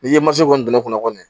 N'i ye mansin kɔni don ne kɔnɔ kɔni